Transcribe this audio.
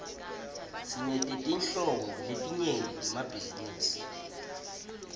sinetetinhlobo letinyenti temabhizinisi